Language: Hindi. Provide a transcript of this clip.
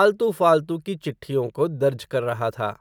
आलतू फ़ालतू की चिट्ठियों को, दर्ज कर रहा था